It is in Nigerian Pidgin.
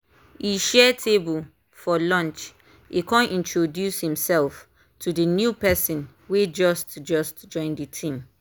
e share table for lunch e con introduce himself to the new person wey just just join the team.